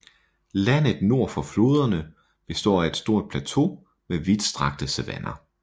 Landet nord for floderne består af et stor plateau med vidt strakte savanner